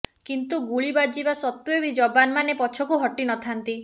କିନ୍ତୁ ଗୁଳି ବାଜିବା ସତ୍ୱେ ବି ଯବାନ ମାନେ ପଛକୁ ହଟିନଥାନ୍ତି